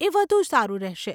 એ વધુ સારું રહેશે.